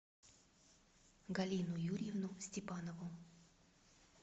галину юрьевну степанову